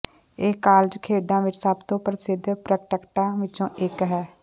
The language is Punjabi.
ਇਹ ਕਾਲਜ ਖੇਡਾਂ ਵਿਚ ਸਭ ਤੋਂ ਪ੍ਰਸਿੱਧ ਪ੍ਰੈਕਟੈਕਟਾਂ ਵਿਚੋਂ ਇਕ ਹੈ